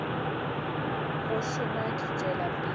go šoma di tšwela pele